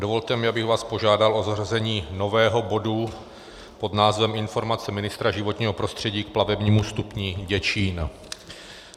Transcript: Dovolte mi, abych vás požádal o zařazení nového bodu pod názvem Informace ministra životního prostředí k plavebnímu stupni Děčín.